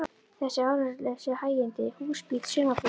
Þessi áreynslulausu hægindi: hús, bíll, sumarbústaður.